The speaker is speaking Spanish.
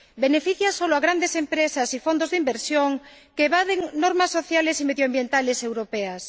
Beneficia solo a grandes empresas y fondos de inversión, que evaden normas sociales y medioambientales europeas.